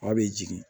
A bɛ jigin